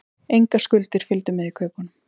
Engar skuldir fylgdu með í kaupunum